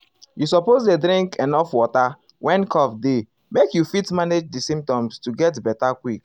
you suppose dey drink drink enuf water when cough dey make you fit manage di symptoms to get beta quick.